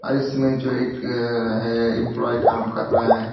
और इसमें जो एक अह है एम्पलाई काम कर रहा है।